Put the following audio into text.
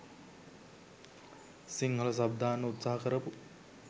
Sinhala sub දාන්න උත්සහ කරපු